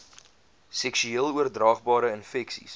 seksueel oordraagbare infeksies